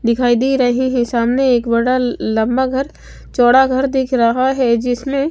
दिखाई दे रहे हैं सामने एक बड़ा ल लंबा घर चौड़ा घर दिख रहा है जिसमें--